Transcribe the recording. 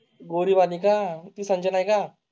गोरी मालिका म्हणजे नाही का?